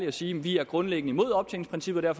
og sige vi er grundlæggende imod optjeningsprincippet og